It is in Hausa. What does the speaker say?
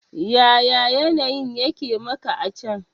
Yaya yanayin yake maka a can?